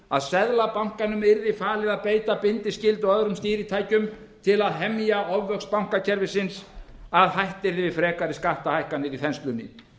að seðlabankanum yrði falið að beita bindiskyldu og öðrum stýritækjum til að hemja ofvöxt bankakerfisins að hætt yrði við frekari skatta ækkanir í þenslunni